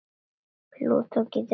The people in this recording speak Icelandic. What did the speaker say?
Plúton getur átt við